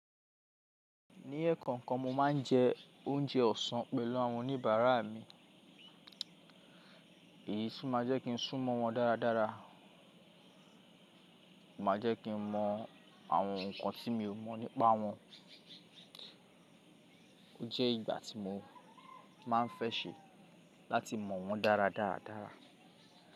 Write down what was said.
Ní ẹ̀kon kan, mo máa ń jẹ oúnjẹ ọ̀sán pẹ̀lú àwọn oníbàárà mi. Èyí sì máa jẹ́ kí n sú mọ̀ wọ́n dáradára, máa jẹ́ kí n mọ àwọn nǹkan tí mi ò mọ̀ nípa wọn. Ó jẹ́ ìgbà tí mo máa ń fẹ́ ṣe láti mọ̀ wọ́n dára dáradára.